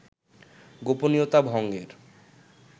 গোপনীয়তা ভঙ্গের